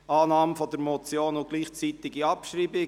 Annahme der Motion und gleichzeitige Abschreibung.